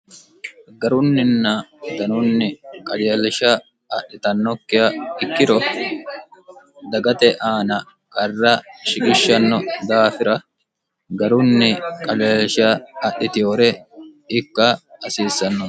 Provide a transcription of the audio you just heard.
garunninna danunni qajeelsha adhitannokkiha ikkiro dagate aana qarra shigishshanno daafira garunni qajeelsha adhitihore ikka hasiissanno